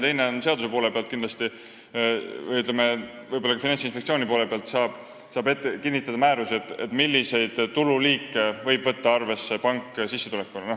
Teiseks saab seadusega, aga võib-olla ka Finantsinspektsiooni kaasates määrusega kinnitada selle, milliseid tululiike võib pank sissetulekuna arvesse võtta.